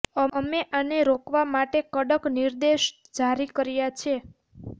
અમે આને રોકવા માટે કડક નિર્દેશ જારી કર્યા છે